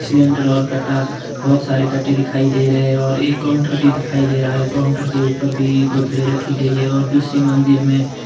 Cylinder और कट्टा बहोत सारे कट्टे दिखाई दे रहे हैं और एक काउंटर भी दिखाई दे रहा है। काउंटर के ऊपर भी बोतले रखी गई हैं और दूसरी मंजिल में --